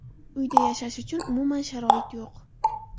Uyda yashash uchun umuman sharoit yo‘q.